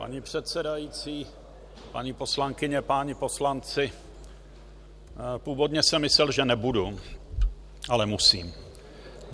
Paní předsedající, paní poslankyně, páni poslanci, původně jsem myslel, že nebudu, ale musím.